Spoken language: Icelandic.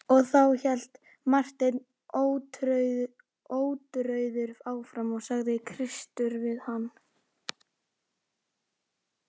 Og þá, hélt Marteinn ótrauður áfram,-sagði Kristur við hann.